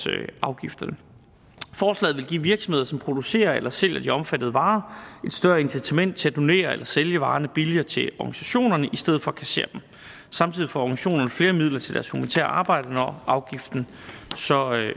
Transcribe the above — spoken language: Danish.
afgifterne forslaget vil give virksomheder som producerer eller sælger de omfattede varer et større incitament til at donere eller sælge varerne billigere til organisationerne i stedet for at kassere dem samtidig får organisationerne flere midler til deres humanitære arbejde når afgiften så